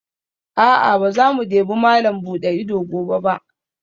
A'a, ba za mu debi malam buɗe ido gobe ba